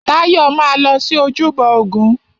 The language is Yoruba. Táyọ̀ máa lọ sí ojúbọ ògún.